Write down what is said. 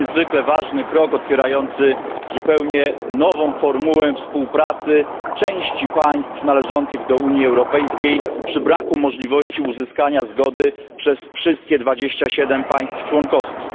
To jest niezwykle ważny krok otwierający zupełnie nową formułę współpracy części państw należących do Unii Europejskiej, jeżeli brak jest możliwości uzyskania zgody wszystkich 27 państw członkowskich.